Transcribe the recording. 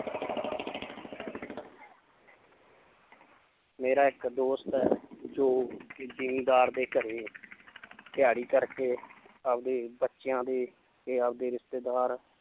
ਮੇਰਾ ਇੱਕ ਦੋਸਤ ਹੈ ਜੋ ਕਿ ਜ਼ਿੰਮੀਦਾਰ ਦੇ ਘਰੇ ਦਿਹਾੜੀ ਕਰਕੇ ਆਪਦੇ ਬੱਚਿਆਂ ਦੇ ਤੇ ਆਪਦੇ ਰਿਸ਼ਤੇਦਾਰ